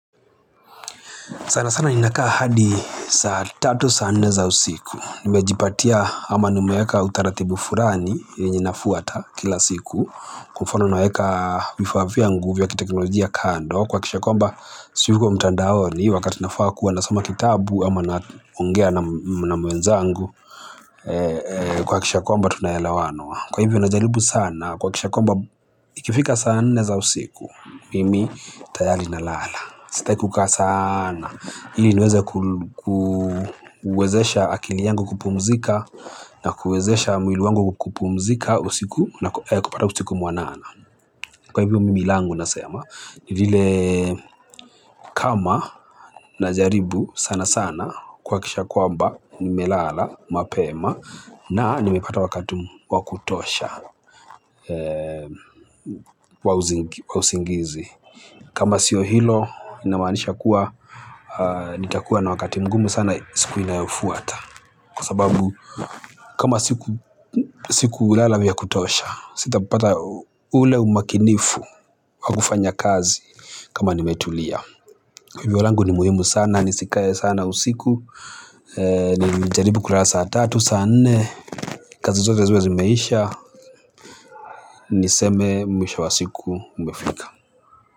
Sana sana ninakaa hadi saa tatu, saa nne za usiku. Nimejipatia ama nimeeka utaratibu fulani yenye nafuata kila siku kwa mfano naekaa vifaa vyangu vya kiteknolojia kando kuhakikisha kwamba siyuko mtandaoni wakati nafaa kuwa nasoma kitabu ama naongea na na mwenzangu kuhakikisha kwamba tunaelewano. Kwa hivyo najaribu sana kuhakikisha kwamba ikifika saa nne za usiku mimi tayari nalala. Sitaki kukaa sanaaa. Ili niweze kuwezesha akili yangu kupumzika na kuwezesha mwili wangu kupumzika usiku na kupata usiku mwanana. Kwa hivyo mimi langu nasema, ni lile kama najaribu sana sana kuhakikisha kwamba nimelala mapema na nimepata wakati wakutosha wa usingizi. Kama sio hilo inamaanisha kuwa nitakuwa na wakati mgumu sana siku inayofuata. Kwa sababu kama sikulala vya kutosha sitapapata ule umakinifu wakufanya kazi kama nimetulia. Hivyo langu ni muhimu sana nisikae sana usiku. Nijaribu kurasa tatu saa nne. Kazi zote ziwe zimeisha niseme mwisho wa siku umefika.